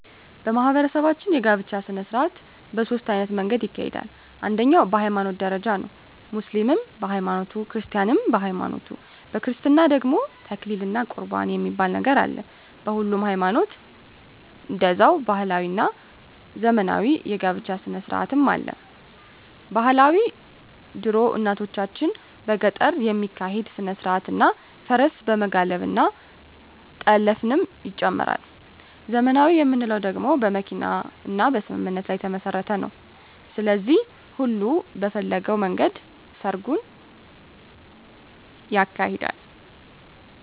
በማህበረሰባችን የጋብቻ ሰነስርአት በ ሶስት አይነት መንገድ ይካሄዳል አንደኛዉ በ ሀይማኖት ደረጃ ነዉ ሙስሊምም በ ሀይማኖቱ ክርስቲያንም በሀይማኖቱ በክርስትና ደግሞ ተክሊል እና ቁርባን የሚባል ነገር አለ በሁሉም ሀይማኖት ደዛዉ ባህላዊ እና ዘመናዊ የ ጋብቻ ስነስርአትም አለ ...ባህላዊ ድሮ እናቶቻችን በገጠር የሚካሄድ ስነስርአት እና ፈረስ በመጋለብ እና ጠለፍንም ይጨምራል .........ዘመናዊ የምንለዉ ደግሞ በመኪና እና በስምምነት ላይ የተመስረተ ነዉ ስለዚህ ሁሉም በፈለገዉ መንገድ ሰርጉን ያካሂዳል።